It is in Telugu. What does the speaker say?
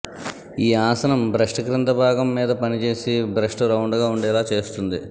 ఈ ఆసనం బ్రెస్ట్ కింద భాగం మీద పని చేసి బ్రెస్ట్ రౌండ్ గా ఉండేలా చేస్తుంది